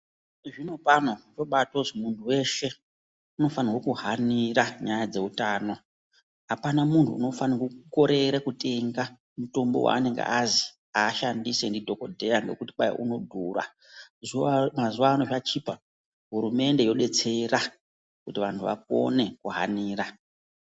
Zvinopano kwobaatozi muntu weshe ,unofanhwe kuhanira nyaya dzeutano. Apana munhu unofanhwa kukorere kutenge mutombo weanenge azi ashandise ndidhokodheya ngekuti kwai unodhura. Zuwa mazuwa ano zvachipa, hurumende yodetserera kuti antu akone kuhanira.